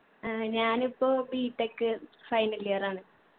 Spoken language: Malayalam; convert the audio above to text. ആഹ് ഞാൻ ഇപ്പോ btechfinal year ആണ്.